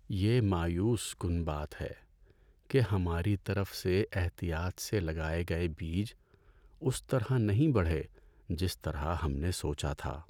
یہ مایوس کن بات ہے کہ ہماری طرف سے احتیاط سے لگائے گئے بیج اس طرح نہیں بڑھے جس طرح ہم نے سوچا تھا۔